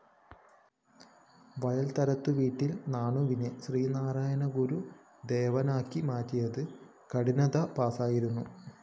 വയല്‍വാരത്തുവീട്ടില്‍ നാണുവിനെ ശ്രീനാരായണ ഗുരുദേവനാക്കി മാറ്റിയത് കഠിനതപസ്സായിരുന്നു